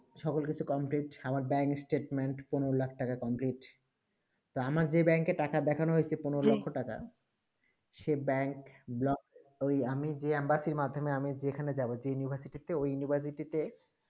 সকল কিছু complete আমার dying statement পন্দ্রঃ লাখ complete আমার যেই bank এ টাকা দেখানো হয়ে চে পন্দ্রঃ লাখ টাকা সেই bank block ঐই আমি যে আম্বাতি মাধ্যমেই মাধমিয়ে আমি যেখানে যাবো যেই university তে ঐই university তে